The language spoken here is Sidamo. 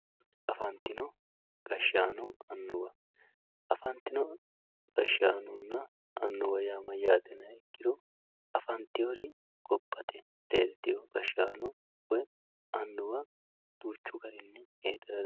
afantino gashshaanonna annuwa afantino gashshaanonna annuwa yaa mayyaate yiniha ikkiro babbaxxewoori gobbate leeltewoo gashshaano woy annuwa duuchu garinni heedhara dandiitanno.